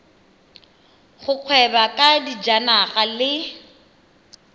go gweba ka dijanaga le